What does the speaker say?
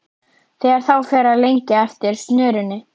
Þegar þá fer að lengja eftir snörunni.